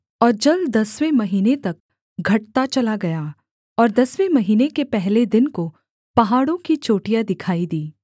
और जल दसवें महीने तक घटता चला गया और दसवें महीने के पहले दिन को पहाड़ों की चोटियाँ दिखाई दीं